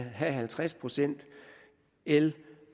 have halvtreds procent el